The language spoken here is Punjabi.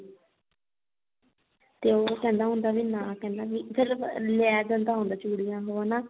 ਤੇ ਉਹ ਕਹਿੰਦਾ ਹੁੰਦਾ ਵੀ ਨਾ ਵੀ ਕੀ ਕਹਿੰਦਾ ਵੀ ਫਿਰ ਉਹ ਆ ਲੈ ਜਾਂਦਾ ਹੁੰਦਾ ਚੂੜੀਆਂ ਉਹ ਹਨਾ